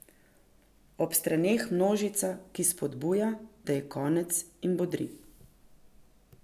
Ob straneh množica, ki spodbuja, da je konec in bodri.